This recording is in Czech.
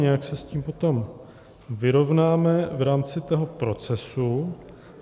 Nějak se s tím potom vyrovnáme v rámci toho procesu.